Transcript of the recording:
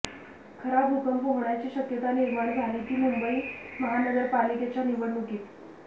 खरा भूकंप होण्याची शक्यता निर्माण झाली ती मुंबई महानगरपालिकेच्या निवडणुकीत